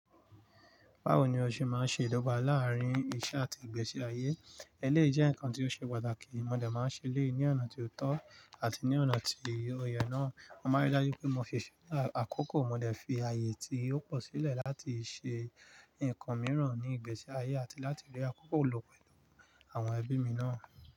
Báwo ni o ṣe máa ń ṣe ìdọ́gba láàárín iṣẹ́ àti ìgbésí ayé? Ẹléyi jẹ́ nǹkan tí ó ṣe pàtàkì, mo dẹ̀ máa ń ṣe léyi ní ọ̀nà tó tọ́ àti ní ọ̀nà tí ó yẹ náà. Mo maa n ri dájú pé mo fiṣẹ́ lá àkókò, mo dẹ̀ fi ààyè tí ó pọ̀ sílẹ̀ láti ṣe ǹkan mìíràn ní ìgbésí ayé àti láti rí àkókò lò pẹ̀lú àwọn ẹbí mi náà.